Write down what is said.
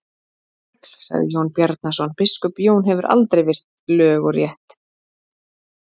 Þrugl, sagði Jón Bjarnason,-biskup Jón hefur aldrei virt lög og rétt.